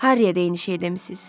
Harryə də eyni şey demisiz.